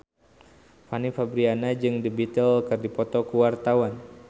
Fanny Fabriana jeung The Beatles keur dipoto ku wartawan